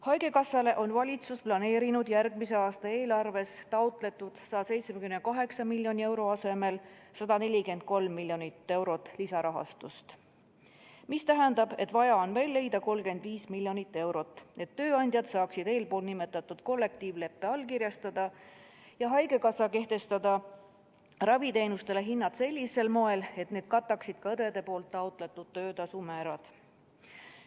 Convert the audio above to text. Haigekassale on valitsus planeerinud järgmise aasta eelarves taotletud 178 miljoni euro asemel 143 miljonit eurot lisarahastust, mis tähendab, et vaja on veel leida 35 miljonit eurot, et tööandjad saaksid eespool nimetatud kollektiivleppe allkirjastada ja haigekassa kehtestada raviteenustele hinnad sellisel moel, et need kataksid ka õdede taotletud töötasumäärad.